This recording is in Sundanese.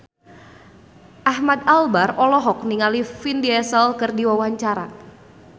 Ahmad Albar olohok ningali Vin Diesel keur diwawancara